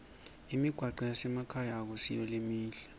imigwaco yasemakhaya ayisiyo lemihle